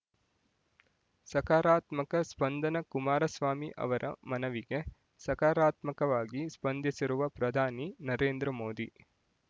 ಸಕಾರಾತ್ಮಕ ಸ್ಪಂದನ ಕುಮಾರಸ್ವಾಮಿ ಅವರ ಮನವಿಗೆ ಸಕಾರಾತ್ಮಕವಾಗಿ ಸ್ಪಂದಿಸಿರುವ ಪ್ರಧಾನಿ ನರೇಂದ್ರ ಮೋದಿ